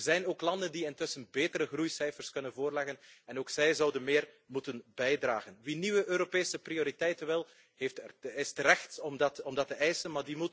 Er zijn ook landen die intussen betere groeicijfers kunnen voorleggen en ook zij zouden meer moeten bijdragen. Wie nieuwe Europese prioriteiten wil, heeft het recht om dat te eisen.